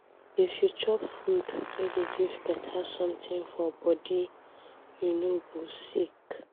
If you chop food wey dey give beta something for body, you no go sick.